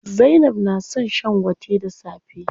Zainab na son shan gwate da safe.